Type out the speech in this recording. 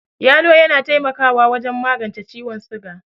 Yalo yana taimakawa wajen magence ciwon siga.